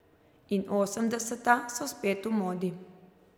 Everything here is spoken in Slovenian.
In osemdeseta so spet v modi.